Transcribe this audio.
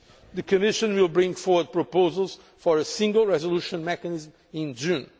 The Commission will bring forward proposals for a single resolution mechanism in June.